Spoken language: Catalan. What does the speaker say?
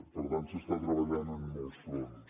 per tant s’està treballant en molts fronts